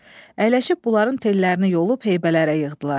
Əyləşib bunların tellərini yolub heybələrə yığdılar.